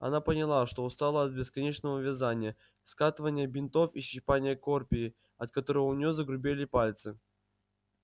она поняла что устала от бесконечного вязания скатывания бинтов и щипания корпии от которой у нее загрубели пальцы